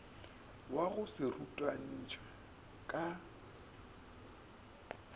wa go se rutantšhwe ka